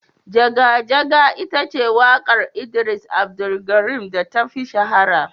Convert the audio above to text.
Jaga Jaga ita ce wakar idris Abdulkarim da ta fi shahara.